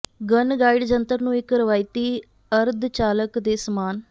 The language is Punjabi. ਗਨ ਡਾਇਡ ਜੰਤਰ ਨੂੰ ਇੱਕ ਰਵਾਇਤੀ ਅਰਧਚਾਲਕ ਦੇ ਸਮਾਨ